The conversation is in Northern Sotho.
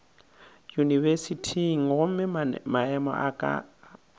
yunibesithing gomme maemo a ka